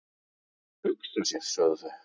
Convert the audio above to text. """Hugsa sér, sögðu þau."""